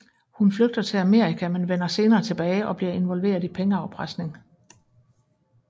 Hun flygter til Amerika men vender senere tilbage og bliver involveret i pengeafpresning